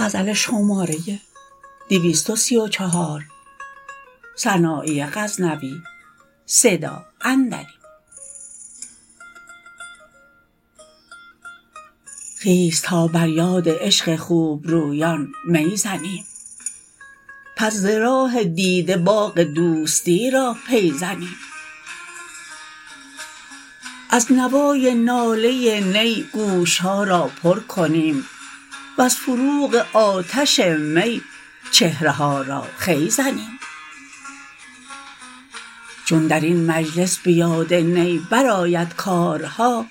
خیز تا بر یاد عشق خوبرویان می زنیم پس ز راه دیده باغ دوستی را پی زنیم از نوای ناله نی گوشها را پر کنیم وز فروغ آتش می چهره ها را خوی زنیم چون درین مجلس به یاد نی برآید کارها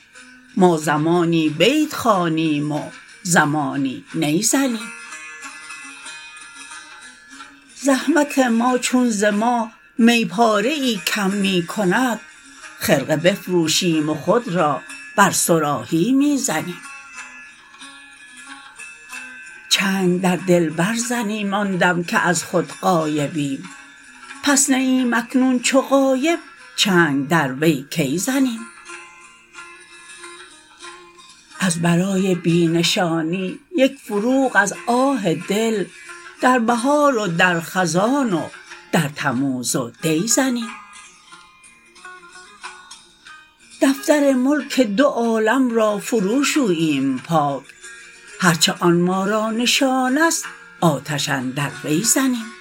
ما زمانی بیت خوانیم و زمانی نی زنیم زحمت ما چون ز ما می پاره ای کم می کند خرقه بفروشیم و خود را بر صراحی می زنیم چنگ در دلبر زنیم آن دم که از خود غایبیم پس نییم اکنون چو غایب چنگ در وی کی زنیم از برای بی نشانی یک فروغ از آه دل در بهار و در خزان و در تموز و دی زنیم دفتر ملک دو عالم را فرو شوییم پاک هر چه آن ما را نشانست آتش اندر وی زنیم